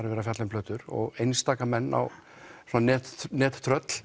verið að fjalla um plötur og einstaka menn svona